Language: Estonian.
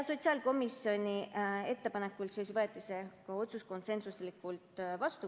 Sotsiaalkomisjoni ettepanekul võeti see otsus konsensuslikult vastu.